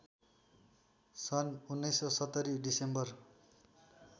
सन् १९७० डिसेम्बर